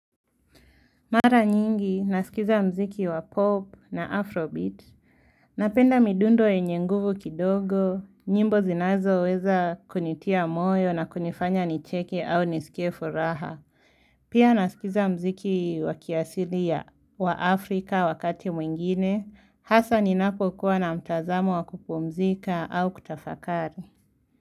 Mara nyingi, naskiza mziki wa pop na afrobeat, napenda midundo yenye nguvu kidogo, nyimbo zinazoweza kunitia moyo na kunifanya nicheke au niskie furaha. Pia naskiza mziki wa kiasili ya Afrika wakati mwingine, hasa ninapo kuwa na mtazamo wa kupumzika au kutafakari.